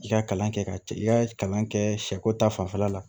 I ka kalan kɛ ka i ka kalan kɛ sɛko ta fanfɛla la